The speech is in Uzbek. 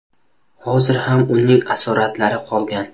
Hozir ham uning asoratlari qolgan.